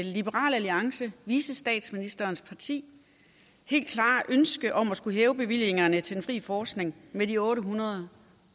liberal alliance vicestatsministerens parti helt klare ønske om at skulle hæve bevillingerne til den fri forskning med de otte hundrede